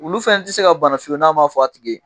Wulu fana tɛ se ka bana fiyewu n'a m'a fɔ a tigi ye